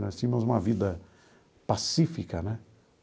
Nós tínhamos uma vida pacífica, né?